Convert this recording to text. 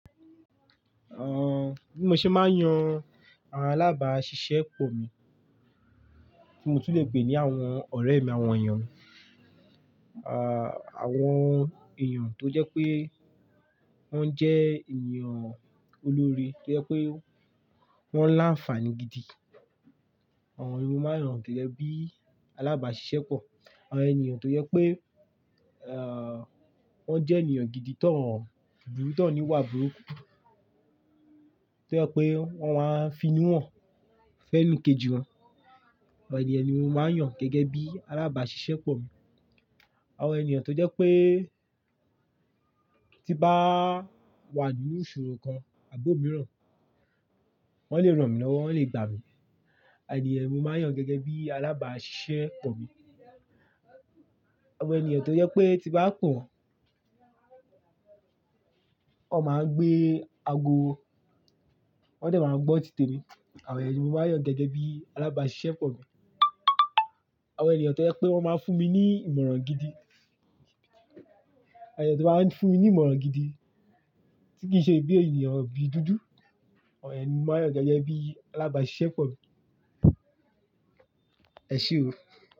Bí mo ṣe máa ń yan àwọn alábàáṣiṣẹ́pọ̀ mi, tí mo tún lè pè ní àwọn ọ̀rẹ́ mi, àwọn èèyàn, àwọn èèyàn tó jẹ́ pé wọ́n jẹ́ ènìyàn olóre, tó jẹ́ pé wọ́n láǹfààní gidi. Àwọn ni mó máa ń yàn gẹ́gẹ́ bí alábàáṣiṣẹ́pọ̀, àwọn ènìyàn tó jẹ́ pé, wọ́n jẹ́ ènìyàn gidi to n, bùru to n níwà burúkú, tó jẹ́ pé wọ́n máa ń fi inú wọn fẹ́ni kejì wọn. Àwọn ènìyàn ni mo máa ń yàn gẹ́gẹ́ bí alábàáṣiṣẹ́pọ̀ mi. Àwọn ènìyàn tó jẹ́ pé tí bá wà nínú ìṣòro kan, àbo mìíràn, wọ́n lè ràn mí lọ́wọ́, wọ́n lè gbà mí. Àwọn ènìyàn ni mo máa ń yàn gẹ́gẹ́ bí alábàáṣiṣẹ́pọ̀ mi. Àwọn ènìyàn tó jẹ́ pé tí bá pọ̀n, wọ́n máa ń gbé aago, wọ́n dẹ̀ máa ń gbọ́ títè mi. Àwọn ènìyàn ni mo máa ń yàn gẹ́gẹ́ bí alábàáṣiṣẹ́pọ̀ mi. Àwọn ènìyàn tó jẹ́ pé wọ́n máa ń fún mi ní ìmọ̀ràn gidi. Àwọn ènìyàn tó bá ń fún mi ní ìmọ̀ràn gidi, tí kì í ṣe bí ènìyàn bi dúdú. Àwọn ènìyàn ni mo máa ń yàn gẹ́gẹ́ bí alábàáṣiṣẹ́pọ̀ mi. Ẹ ṣe o.